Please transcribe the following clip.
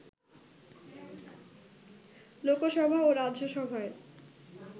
লোকসভা ও রাজ্যসভায়